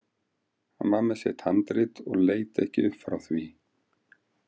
Hann var með sitt handrit og leit ekki upp frá því.